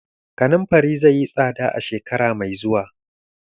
Kanunfari zai yi tsada shekara mai zuwa.